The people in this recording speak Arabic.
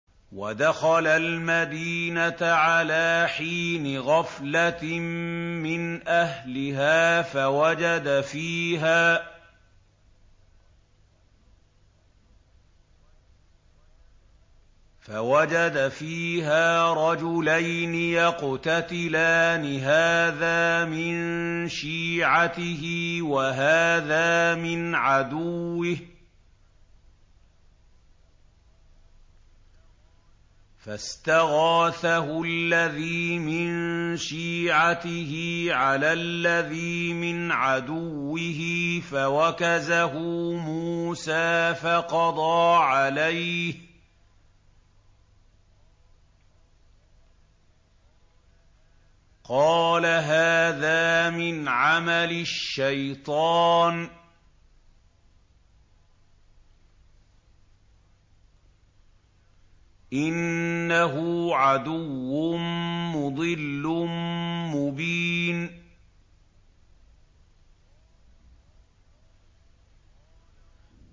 وَدَخَلَ الْمَدِينَةَ عَلَىٰ حِينِ غَفْلَةٍ مِّنْ أَهْلِهَا فَوَجَدَ فِيهَا رَجُلَيْنِ يَقْتَتِلَانِ هَٰذَا مِن شِيعَتِهِ وَهَٰذَا مِنْ عَدُوِّهِ ۖ فَاسْتَغَاثَهُ الَّذِي مِن شِيعَتِهِ عَلَى الَّذِي مِنْ عَدُوِّهِ فَوَكَزَهُ مُوسَىٰ فَقَضَىٰ عَلَيْهِ ۖ قَالَ هَٰذَا مِنْ عَمَلِ الشَّيْطَانِ ۖ إِنَّهُ عَدُوٌّ مُّضِلٌّ مُّبِينٌ